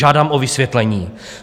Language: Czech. Žádám o vysvětlení.